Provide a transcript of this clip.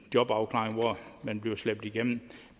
jobafklaring hvor man bliver slæbt igennem